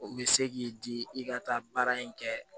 O bɛ se k'i di i ka taa baara in kɛ